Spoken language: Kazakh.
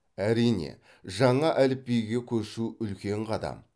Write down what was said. әрине жаңа әліпбиге көшу үлкен қадам